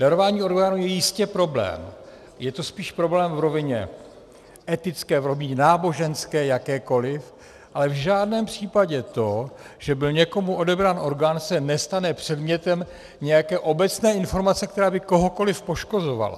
Darování orgánů je jistě problém, je to spíš problém v rovině etické, v rovině náboženské, jakékoliv, ale v žádném případě to, že byl někomu odebrán orgán, se nestane předmětem nějaké obecné informace, která by kohokoliv poškozovala.